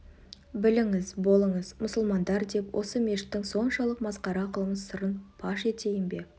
біліңіз болыңыз мұсылмандар деп осы мешіттің соншалық масқара қылмыс сырын паш етейін бе